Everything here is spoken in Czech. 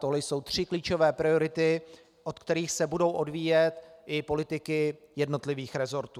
Tohle jsou tři klíčové priority, od kterých se budou odvíjet i politiky jednotlivých resortů.